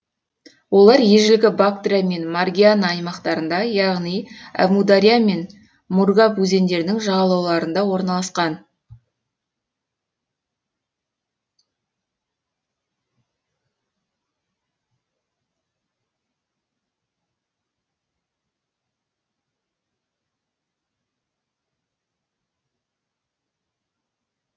олар ежелгі бактрия мен маргиана аймақтарында яғни әмудария мен мургаб өзендерінің жағалауларында орналасқан